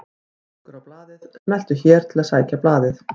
Hlekkur á blaðið: Smelltu hér til að sækja blaðið